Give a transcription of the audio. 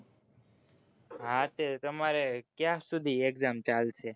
હા તે તમારે ક્યાંક સુધી exam ચાલશે?